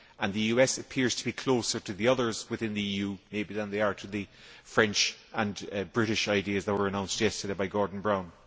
The US appears to be closer to the others within the EU, maybe, than they are to the French and British ideas that were announced yesterday by Gordon Brown.